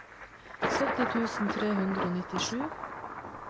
sytti tusen tre hundre og nittisju